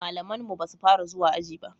malaman mu basu Fara zuwa aji ba